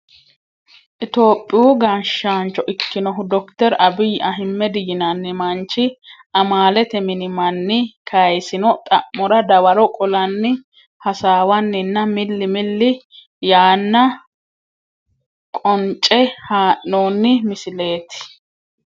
tophiyu gashshaancho ikkinohu dokiter abiyi ahmed yinanni manchi, amaalete mini manni kayiisino xa'mora dawaro qolanni hasaawanninna milli milli yaanna qonce haa'noonni misileeti.